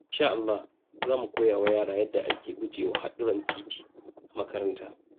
In sha Allah, za mu koya wa yara yadda ake guje wa haɗurran titi a makaranta.